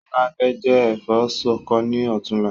Ṣọlá fẹ jẹ ẹ̀fọ́ ṣọkọ ni ọ̀túnla